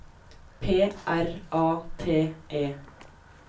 P R A T E